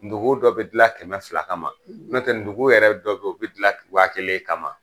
Dugun dɔ bi gilan kɛmɛ fila kama n'o tɛ dugu yɛrɛ dɔw be gilan wa kelen kama.